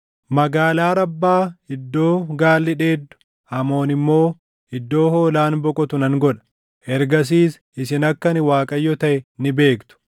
Magaalaa Rabbaa iddoo gaalli dheedu, Amoon immoo iddoo hoolaan boqotu nan godha. Ergasiis isin akka ani Waaqayyo taʼe ni beektu.